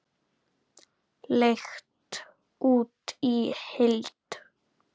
Leigt út í heild?